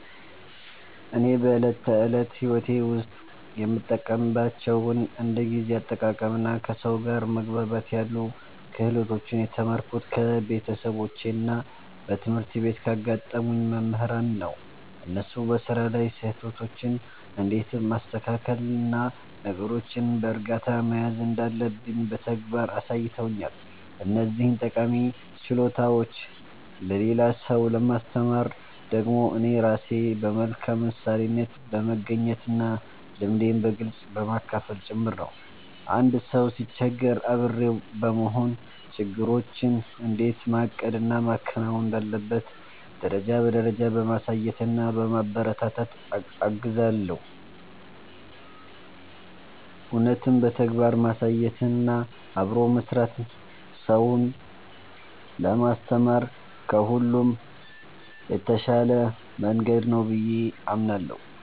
እኔ በዕለት ተዕለት ሕይወቴ ውስጥ የምጠቀምባቸውን እንደ ጊዜ አጠቃቀምና ከሰው ጋር መግባባት ያሉ ክህሎቶችን የተማርኩት ከቤተሰቦቼና በትምህርት ቤት ካጋጠሙኝ መምህራን ነው። እነሱ በሥራ ላይ ስህተቶችን እንዴት ማስተካከልና ነገሮችን በዕርጋታ መያዝ እንዳለብኝ በተግባር አሳይተውኛል። እነዚህን ጠቃሚ ችሎታዎች ለሌላ ሰው ለማስተማር ደግሞ እኔ ራሴ በመልካም ምሳሌነት በመገኘትና ልምዴን በግልጽ በማካፈል ጭምር ነው። አንድ ሰው ሲቸገር አብሬው በመሆን፣ ነገሮችን እንዴት ማቀድና ማከናወን እንዳለበት ደረጃ በደረጃ በማሳየትና በማበረታታት እገዘዋለሁ። እውነትም በተግባር ማሳየትና አብሮ መሥራት ሰውን ለማስተማር ከሁሉ የተሻለ መንገድ ነው ብዬ አምናለሁ።